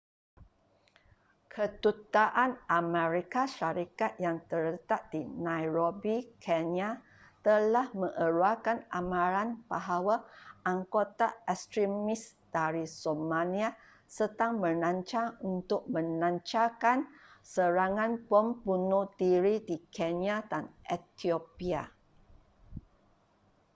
kedutaan amerika syarikat yang terletak di nairobi kenya telah mengeluarkan amaran bahawa anggota ekstremis dari somalia sedang merancang untuk melancarkan serangan bom bunuh diri di kenya dan etiopia